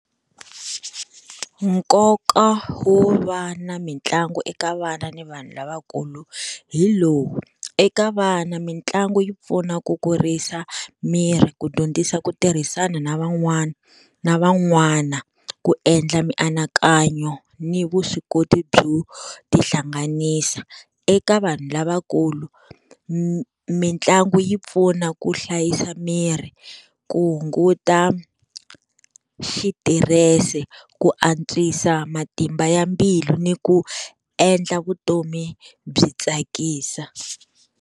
Nkoka wo va na mitlangu eka vana ni vanhu lavakulu hi lowu, eka vana mitlangu yi pfuna ku kurisa miri, ku dyondzisa ku tirhisana na van'wana na van'wana, ku endla mianakanyo ni vuswikoti byo tihlanganisa. Eka vanhu lavakulu mitlangu yi pfuna ku hlayisa miri, ku hunguta xitirese, ku antswisa matimba ya mbilu ni ku endla vutomi byi tsakisa.